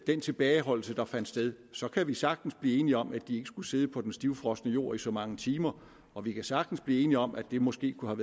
den tilbageholdelse der fandt sted så kan vi sagtens blive enige om at de ikke skulle sidde på den stivfrosne jord i så mange timer og vi kan sagtens blive enige om at det måske kunne